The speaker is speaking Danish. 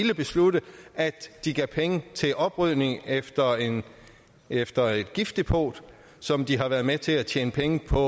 besluttet at de gav penge til oprydningen efter efter et giftdepot som de har været med til at tjene penge på